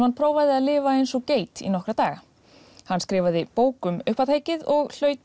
hann prófaði að lifa eins og geit í nokkra daga hann skrifaði bók um uppátækið og hlaut